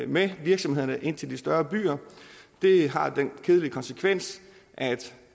med virksomhederne ind til de større byer det har den kedelige konsekvens at